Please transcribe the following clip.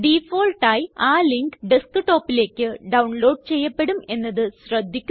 default ആയി ആ link Desktopലേയ്ക്ക് ഡൌൺലോഡ് ചെയ്യപ്പെടും എന്നത് ശ്രദ്ധിക്കുക